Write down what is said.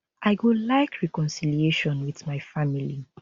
i go like reconciliation wit my family